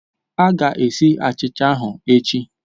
A ga-esi achicha ahụ echi